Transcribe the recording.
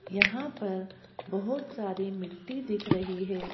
यहां पर बहुत सारी मिट्टी दिख रही है।